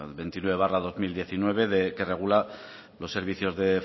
veintinueve barra dos mil diecinueve que regula los servicios de